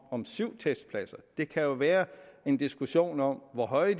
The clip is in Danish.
om syv testpladser det kan jo være en diskussion om hvor høje